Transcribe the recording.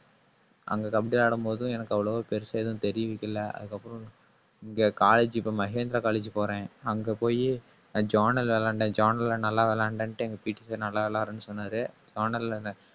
அங்க கபடி ஆடும்போதும் எனக்கு அவ்வளவா பெருசா எதுவும் தெரிவிக்கல. அதுக்கப்புறம் இங்க college இப்ப மகேந்திரா college போறேன். அங்க போயி journal விளையாண்டேன் journal ல நல்லா விளையாண்டேன்ட்டு எங்க PT Sir நல்லா விளையாடுன்னு சொன்னாரு. journal ல என்ன